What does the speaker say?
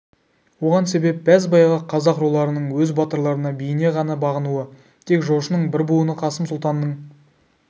оған себеп бәз-баяғы қазақ руларының өз батырларына биіне ғана бағынуы тек жошының бір буыны қасым сұлтанның